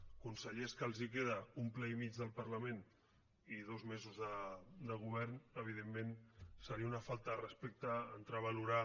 de consellers que els queda un ple i mig del parlament i dos mesos de govern evidentment seria una falta de respecte entrar a valorar